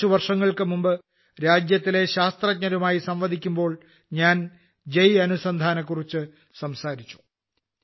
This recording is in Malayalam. കുറച്ചു വർഷങ്ങൾക്കുമുമ്പ് രാജ്യത്തിലെ ശാസ്ത്രജ്ഞരുമായി സംവദിക്കുമ്പോൾ ഞാൻ ജയ് അനുസന്ധാനെക്കുറിച്ചു സംസാരിച്ചു